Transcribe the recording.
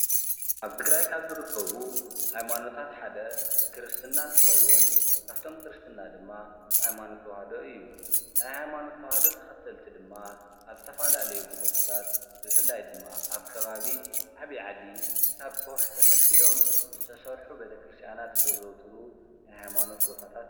ኣብ ትግራይ ካብ ዝኽበሩ ሃይማኖታት ሓደ ክርስትና እንትኸዉን ካፈቶም ክርስትና ድማ ሃይማኖት ተዋህዶ እዩ። ናይ ሃይማኖት ተዋሃዶ ተኸተልቲ ድማ ኣብ ዝተፈላለዩ ቦታታት ብፍላይ ድማ ኣብ ከባቢ ዓብዪ ዓዲ ካብ ከዉሒ ተፈልፊሎም ዝተሰርሑ ቤተክርስትያናት ዘዘዉትሩ ናይ ሃይማኖት ቦታታት ።